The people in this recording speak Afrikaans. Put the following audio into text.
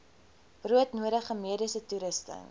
broodnodige mediese toerusting